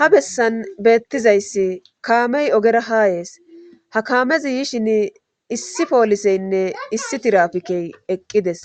Ha bessan beettizayssi kaamey ogera hayees ha kaamezi yishin issi pooliseynne issi tirafikey eqqides